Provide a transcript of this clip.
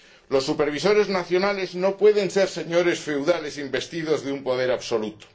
Los supervisores nacionales no pueden ser señores feudales investidos de un poder absoluto.